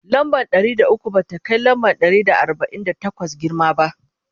lamba Ɗari da ukwu ba ta Kai lamba Ɗari da arbain da takwas girma ba